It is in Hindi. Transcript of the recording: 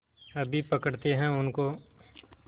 अभी पकड़ते हैं उनको